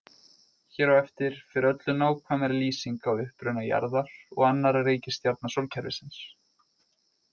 Hér á eftir fer öllu nákvæmari lýsing á uppruna jarðar og annarra reikistjarna sólkerfisins.